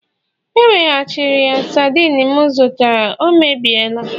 E weghachiri ya sardine m zụtara, ọ emebiela